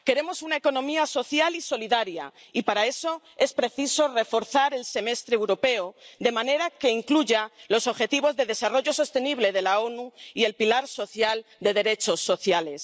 Queremos una economía social y solidaria, y para eso es preciso reforzar el Semestre Europeo, de manera que incluya los Objetivos de Desarrollo Sostenible de las Naciones Unidas y el pilar de los derechos sociales.